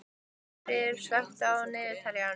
Guðfríður, slökktu á niðurteljaranum.